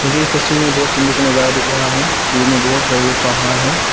इस तस्वीर में बहुत सुंदर दिख रहा है जो बहोत बड़े बड़े पहाड़ है।